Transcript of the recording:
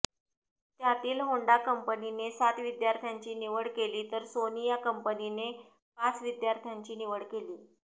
त्यातील होंडा कंपनीने सात विद्यार्थ्यांची निवड केली तर सोनी या कंपनीने पाच विद्यार्थ्यांची निवड केली